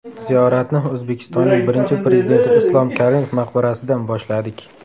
Ziyoratni O‘zbekistonning Birinchi Prezidenti Islom Karimov maqbarasidan boshladik.